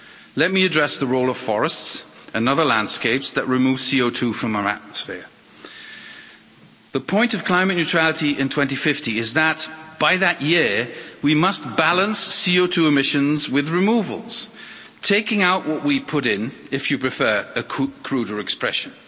Let me address the role of forests and other landscapes that remove CO2 from our atmosphere. The point of climate neutrality in 2050 is that by that year we must balance CO2 emissions with removals taking out what we put in, if you prefer a cruder expression.